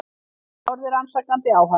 Hún horfði rannsakandi á hann.